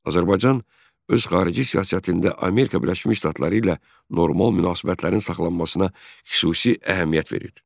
Azərbaycan öz xarici siyasətində Amerika Birləşmiş Ştatları ilə normal münasibətlərin saxlanmasına xüsusi əhəmiyyət verir.